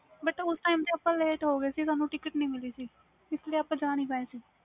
but ਉਸ time ਤੇ ਅਸੀਂ ਜਾ ਨਹੀਂ ਪਾਏ late ਹੋ ਗੇ ਸੀ ticket ਨਹੀਂ ਮਿਲੀ ਸੀ ਸਾਨੂੰ